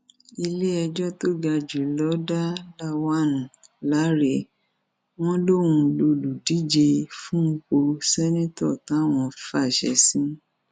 iléẹjọ tó ga jù lọ dá lawan láre wọn lòún lọlùdíje fúnpọ ṣèǹtẹtọ táwọn fàṣẹ sí